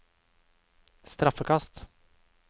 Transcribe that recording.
straffekast